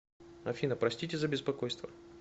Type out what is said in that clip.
афина простите за беспокойство